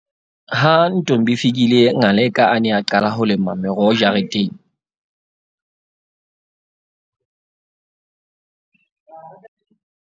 Ha Ntombifikile Ngaleka a ne a qala ho lema meroho jare-